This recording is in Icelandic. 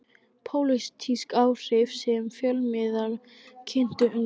Pólitísk áhrif sem fjölmiðlar kyntu undir.